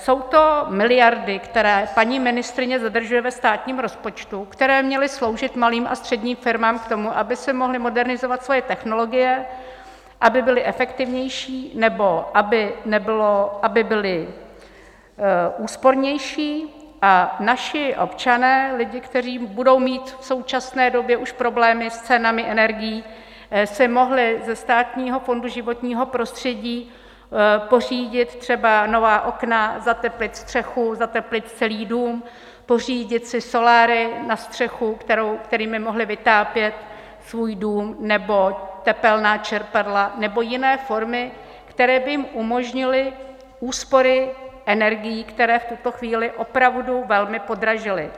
Jsou to miliardy, které paní ministryně zadržuje ve státním rozpočtu, které měly sloužit malým a středním firmám k tomu, aby si mohly modernizovat svoje technologie, aby byly efektivnější nebo aby byly úspornější, a naši občané, lidi, kteří budou mít v současné době už problémy s cenami energií, si mohli ze Státního fondu životního prostředí pořídit třeba nová okna, zateplit střechu, zateplit celý dům, pořídit si soláry na střechu, kterými mohli vytápět svůj dům, nebo tepelná čerpadla nebo jiné formy, které by jim umožnily úspory energií, které v tuto chvíli opravdu velmi podražily.